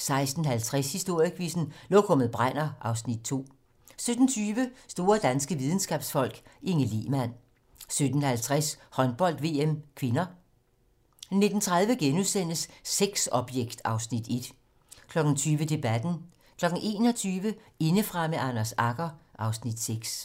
16:50: Historiequizzen: Lokummet brænder (Afs. 2) 17:20: Store danske videnskabsfolk: Inge Lehmann 17:50: Håndbold: VM (k) 19:30: Sexobjekt (Afs. 1)* 20:00: Debatten 21:00: Indefra med Anders Agger (Afs. 6)